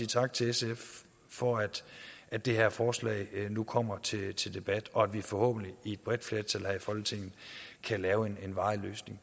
tak til sf for at at det her forslag nu kommer til til debat og at vi forhåbentlig et bredt flertal her i folketinget kan lave en varig løsning